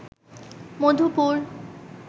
Madhupur